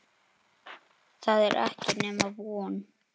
Það er ekki nema von.